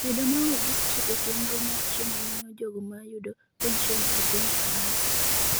Bedo maonge gi strip e chenro mar chiemo miyo jogo ma yudo penson e piny Faransa